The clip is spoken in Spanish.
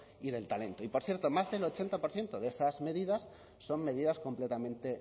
y del talento y por cierto más del ochenta por ciento de esas medidas son medidas completamente